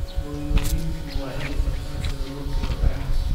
Hooyooyinku waa inay bartaan sida loo tuuro dhagaxa